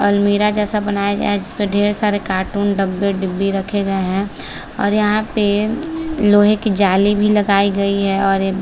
अलमीरा जैसा बनाया गया है जिसपे ढेर सारे कार्टून डब्बे डिब्बी रखे गए है और यहाँ पे लोहे की जाली भी लगायी गयी है और --